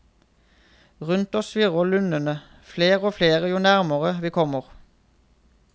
Rundt oss svirrer lundene, fler og fler jo nærmere vi kommer.